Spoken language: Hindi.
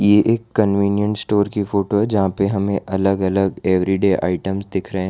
ये एक कन्वेनिएंट स्टोर की फोटो है जहां पर हमें अलग अलग एवरीडे आइटम्स दिख रहे हैं।